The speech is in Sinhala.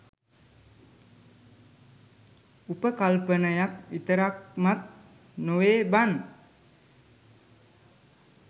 උපකල්පනයක් විතරක්මත් නොවේ බං